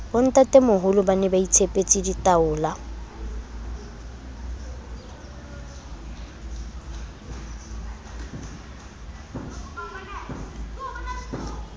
bontatemoholo ba ne baitshepetse ditaola